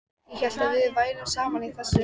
Ég hélt við værum saman í þessu.